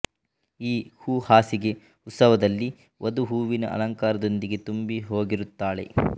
ಈ ಹೂ ಹಾಸಿಗೆ ಉತ್ಸವದಲ್ಲಿ ವಧು ಹೂವಿನ ಅಲಂಕಾರದೊಂದಿಗೆ ತುಂಬಿಹೋಗಿರುತ್ತಾಳೆ